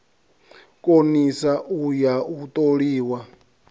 konisa u ya u toliwa